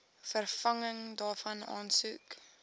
vervanging daarvan aansoek